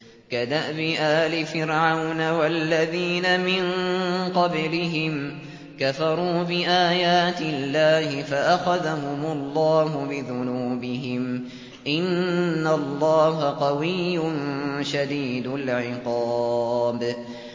كَدَأْبِ آلِ فِرْعَوْنَ ۙ وَالَّذِينَ مِن قَبْلِهِمْ ۚ كَفَرُوا بِآيَاتِ اللَّهِ فَأَخَذَهُمُ اللَّهُ بِذُنُوبِهِمْ ۗ إِنَّ اللَّهَ قَوِيٌّ شَدِيدُ الْعِقَابِ